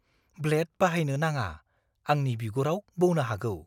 Blade बाहायननो नाङा। आंनि बिगुराव बौनो हागौ।